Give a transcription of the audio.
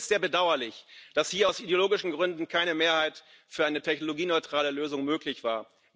Es ist sehr bedauerlich, dass hier aus ideologischen Gründen keine Mehrheit für eine technologieneutrale Lösung möglich war.